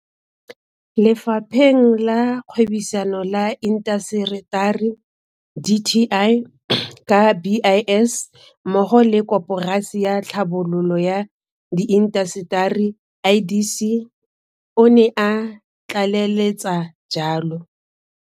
Lefapheng la Kgwebisano le Intaseteri dti ka BIS mmogo le ka Koporasi ya Tlhabololo ya Diintaseteri IDC, o ne a tlaleletsa jalo.